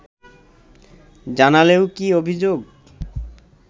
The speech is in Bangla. জানালেও কী অভিযোগ